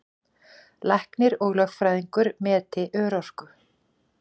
Læknir og lögfræðingur meti örorku